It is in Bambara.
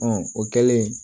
o kɛlen